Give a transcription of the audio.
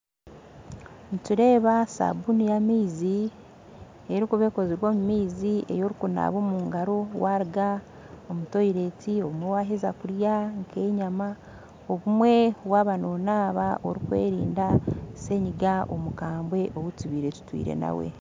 Nindeeba sabuuni yamaizi erikuba ekozirwe omu maizi ei orikunaaba omu ngaaro waruga omu kihoronio obumwe waheza kurya nk'enyama obumwe waaba nonaaba orikwerinda senyiga omukambwe ou tubaire tutwire nawe